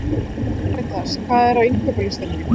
Karitas, hvað er á innkaupalistanum mínum?